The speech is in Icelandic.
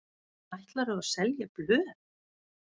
Ætlarðu að selja blöð?